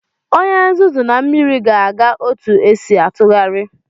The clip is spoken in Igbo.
Onye nzuzu na mmiri ga-aga otu esi atụgharị.